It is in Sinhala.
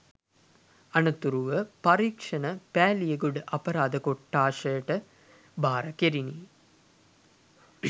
අනතුරුව පරීක්‌ෂණ පෑළියගොඩ අපරාධ කොට්‌ඨාසයට භාර කෙරිණි